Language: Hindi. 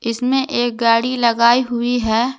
इसमें एक गाड़ी लगाई हुई है।